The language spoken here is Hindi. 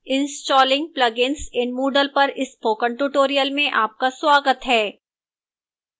installing plugins in moodle पर spoken tutorial में आपका स्वागत है